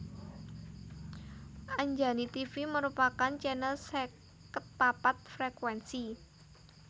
Anjani Tivi merupakan channel seket papat frekuensi